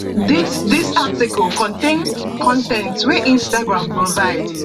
dis dis article contain con ten t wey instagram provide